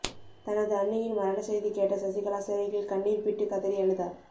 தனது அண்ணியின் மரண செய்தி கேட்ட சசிகலா சிறையில் கண்ணீர்பிட்டு கதறி அழுதார்